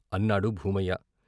అన్నాడు భూమయ్య.